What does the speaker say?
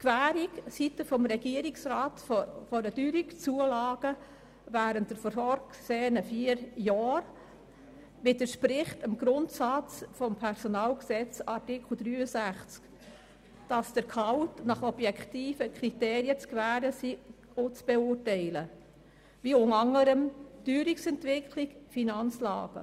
Die Gewährung seitens des Regierungsrats einer Teuerungszulage während der vorgesehenen vier Jahre widerspricht dem Grundsatz des Personalgesetzes in Artikel 63, wonach das Gehalt nach objektiven Kriterien zu gewähren und zu beurteilen sei, unter anderem nach der Teuerungsentwicklung oder der Finanzlage.